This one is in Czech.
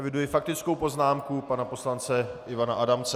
Eviduji faktickou poznámku pana poslance Ivana Adamce.